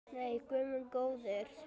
Nei, guð minn góður.